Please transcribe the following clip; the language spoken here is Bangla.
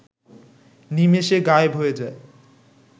নিমেষে গায়েব হয়ে যায়